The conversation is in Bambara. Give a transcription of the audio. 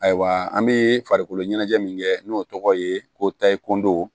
Ayiwa an be farikolo ɲɛnajɛ min kɛ n'o tɔgɔ ye ko tayi kundow